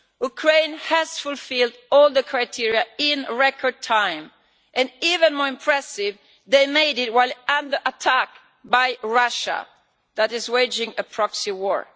Ukraine has fulfilled all the criteria in record time even more impressive, they made it while under attack by Russia, which is waging a proxy war.